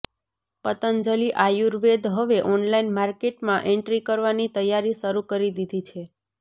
પંતજલિ આયુર્વેદ હવે ઑનલાઇન માર્કેટમાં એન્ટ્રી કરવાની તૈયારી શરૂ કરી દીધી છે